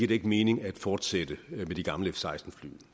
det ikke mening at fortsætte med de gamle f seksten fly